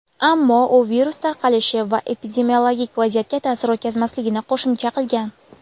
Ammo u virus tarqalishi va epidemiologik vaziyatga ta’sir o‘tkazmasligini qo‘shimcha qilgan.